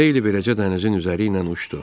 O xeyli beləcə dənizin üzəri ilə uçdu.